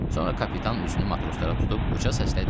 Sonra kapitan üzünü matroslara tutub uca səslə dedi: